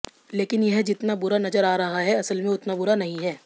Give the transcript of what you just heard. लेकिन यह जितना बुरा नजर आ रहा है असल में उतना बुरा नहीं है